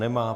Nemá.